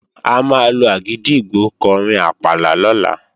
A máa lo àgìdìgbò kọrin àpàlà lọ́la